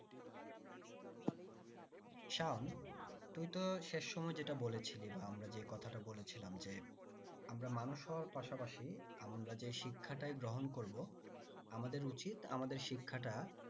শাম তুই তো শেষ সময় যেটা বলেছিলি বা আমরা যেটা কথাটা বলেছিলাম যে আমরা মানুষ হাওয়ার পাশাপাশি আমরা যে শিক্ষাটাই গ্রহণ করবো আমাদের উচিত আমাদের শিক্ষাটা